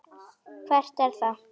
Hvert er það?